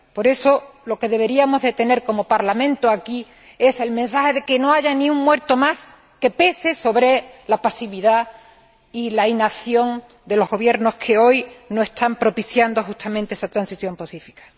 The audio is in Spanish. Por eso, lo que deberíamos emitir como Parlamento, aquí, es el mensaje de que no haya ni un muerto más que pese sobre la pasividad y la inacción de los gobiernos que hoy no están propiciando justamente esa transición pacífica.